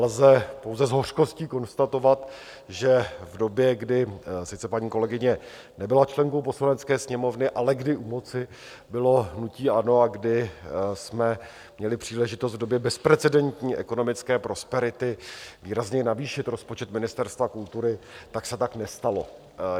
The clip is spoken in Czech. Lze pouze s hořkostí konstatovat, že v době, kdy sice paní kolegyně nebyla členkou Poslanecké sněmovny, ale kdy u moci bylo hnutí ANO a kdy jsme měli příležitost v době bezprecedentní ekonomické prosperity výrazněji navýšit rozpočet Ministerstva kultury, tak se tak nestalo.